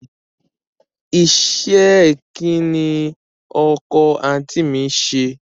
Iṣẹ́ ẹ kín ni ọkọ àǹtí mi ń ṣe?